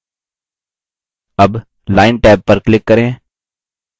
tab line tab पर click करें